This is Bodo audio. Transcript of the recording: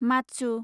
माच्छु